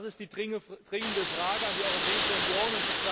Das ist die dringende Frage an die Europäische Union.